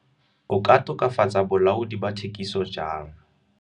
O ka tokafatsa bolaodi ba thekiso jang.